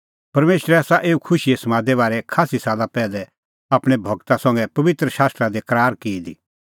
परमेशरै आसा एऊ खुशीए समादे बारै खास्सी साला पैहलै आपणैं गूरा संघै पबित्र शास्त्रा दी करार की दी